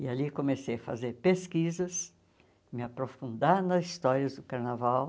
E ali comecei a fazer pesquisas, me aprofundar nas histórias do Carnaval.